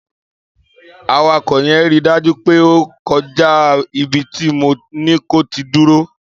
Àwako yẹn rí dàjú pẹ o kọ̀ jà ìbíti mò ni kò tì dúrò